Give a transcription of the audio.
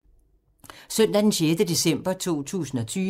Søndag d. 6. december 2020